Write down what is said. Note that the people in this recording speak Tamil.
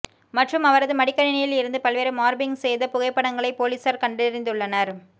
மற்றும் அவரது மடிக்கணினியில் இருந்து பல்வேறு மார்பிங் செய்த புகைப்படங்களை பொலிஸார் கண்டறிந்துள்ளனர்